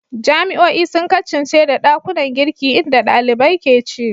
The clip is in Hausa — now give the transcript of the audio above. Jami'o'i sun kasance da ɗakunan girki inda ɗalibai ke ci.